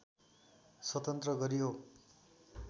स्वतन्त्र गरियो